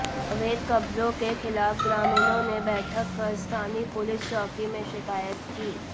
अवैध कब्जों के खिलाफ ग्रामीणों ने बैठक कर स्थानीय पुलिस चौकी में शिकायत की